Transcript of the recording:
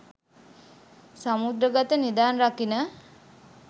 සමුද්‍රගත නිධන් රකින